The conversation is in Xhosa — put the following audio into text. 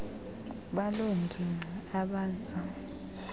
baloo ngingqi abaza